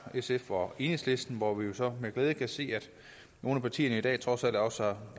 sf og enhedslisten hvor vi jo så med glæde kan se at nogle af partierne i dag trods alt også